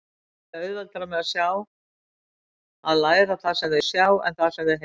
Börn eiga auðveldara með að læra það sem þau sjá en það sem þau heyra.